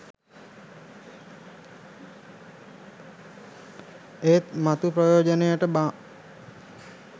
ඒත් මතු ප්‍රයෝඡනයට බාම්.